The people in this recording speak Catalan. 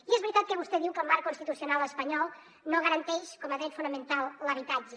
i és veritat que vostè diu que el marc constitucional espanyol no garanteix com a dret fonamental l’habitatge